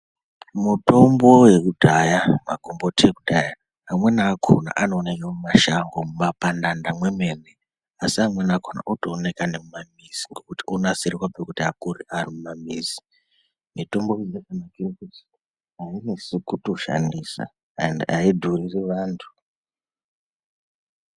Mutombo yekudhaya magomboti ekudhaya amweni akona anooneke mumashango mumapandanda mwemene. Asi amweni akona otooneka nemumamizi ngokuti onasirwa pokuti akure arimumamizi. Mitombo iyi yakanakire kuti hainesi kutoshandisa ende haidhuriri vantu.